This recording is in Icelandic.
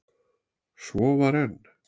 Svo var enn.